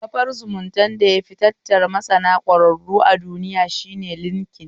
Kafar zumuntar da yafi tattara masana ƙwararru a duniya shine linkin